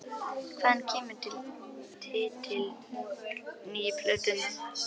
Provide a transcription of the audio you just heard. Hvaðan kemur titill nýju plötunnar?